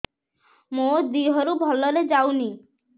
ମୋ ଦିହରୁ ଭଲରେ ଯାଉନି